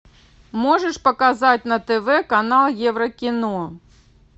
можешь показать на тв канал еврокино